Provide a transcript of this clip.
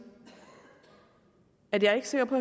at jeg er ikke sikker på